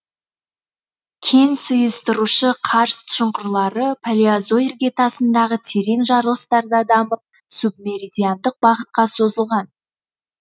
кен сыйыстырушы карст шұңқырлары палеозой іргетасындағы терең жарылыстарда дамып субмеридиандық бағытқа созылған